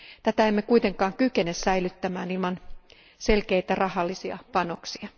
Tätä emme kuitenkaan kykene säilyttämään ilman selkeitä rahallisia panoksia.